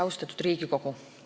Austatud Riigikogu!